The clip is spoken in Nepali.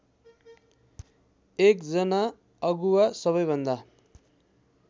एकजना अगुवा सबैभन्दा